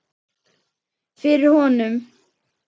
Fyrir honum.